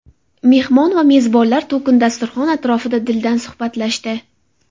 Mehmon va mezbonlar to‘kin dasturxon atrofida dildan suhbatlashdi.